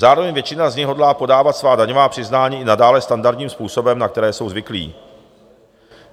Zároveň většina z nich hodlá podávat svá daňová přiznání i nadále standardním způsobem, na které jsou zvyklí.